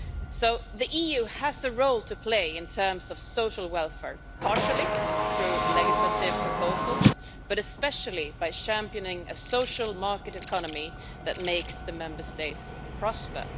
So the EU has a role to play in terms of social welfare, partly through legislative proposals but especially by championing a social market economy that makes the Member States prosper.